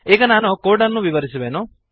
ಈಗ ನಾನು ಕೋಡನ್ನು ವಿವರಿಸುವೆನು